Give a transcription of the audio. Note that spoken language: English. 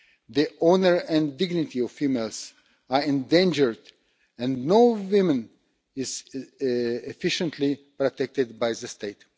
The honour and dignity of females is endangered, and no woman is efficiently protected by the state.